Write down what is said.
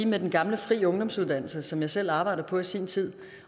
med den gamle fri ungdomsuddannelse som jeg selv arbejdede på i sin tid